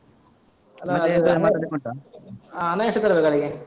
ಹ~ ಹಣ ಎಷ್ಟು ತರ್ಬೇಕು ಅಲ್ಲಿಗೆ?